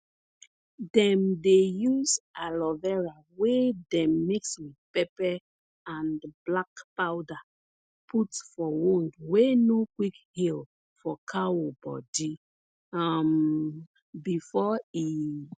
dem dey use aloe vera wey dem mix with pepper and black powder put for wound wey no quick heal for cow body um before e